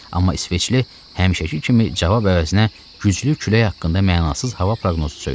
Amma İsveçli həmişəki kimi cavab əvəzinə güclü külək haqqında mənasız hava proqnozu söylədi.